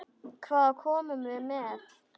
Hvað komum við með?